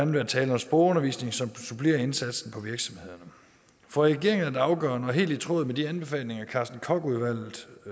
være tale om sprogundervisning som supplerer indsatsen på virksomhederne for regeringen er det afgørende og helt i tråd med de anbefalinger carsten koch udvalget